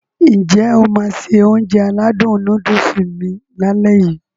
N jẹ́ o máá se Ounjẹ aládùn nóódùsì mi lálẹ́ yii?